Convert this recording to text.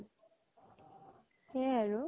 সেয়া য়ে আৰু